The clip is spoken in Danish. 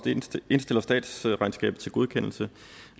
indstiller statsregnskabet til godkendelse